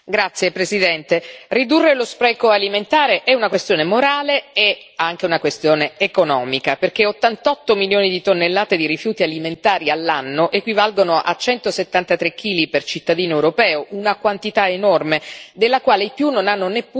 Ridurre lo spreco alimentare è una questione morale e anche una questione economica, perché 88 milioni di tonnellate di rifiuti alimentari all'anno equivalgono a 173 chili per cittadino europeo, una quantità enorme, della quale i più non hanno neppure consapevolezza.